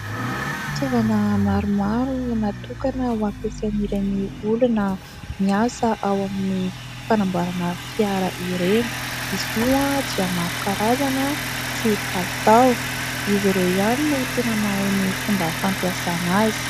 Fitaovana maromaro natokana hampiasain'ireny olona miasa ao amin'ny fanamboarana fiara ireny. Izy io dia maro karazana sy kalitao. Izy ireo ihany no tena mahay ny fomba fampiasana azy.